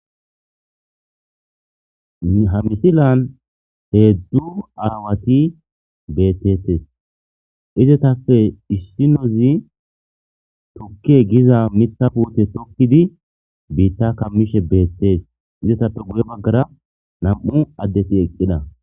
Ha misilan heeddu aawati bettetes izetappe issinozi tokke giza mithapwote tokkidi biitta kammishe beettees izetappe guye baggara nam'u addeti eqqida.